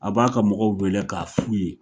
A b'a ka mɔgɔw weele k'a f'u ye.